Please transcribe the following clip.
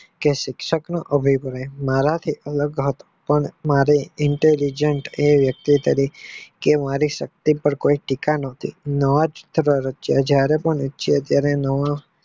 કે શિક્ષક નો અભિપ્રાય મારા શિક્ષણ નો ભાગ પણ મારે intelligent એ નકી કરી છે કે મારે સત્ય પાર કોઈ ટીકા નોતી જયારે પણ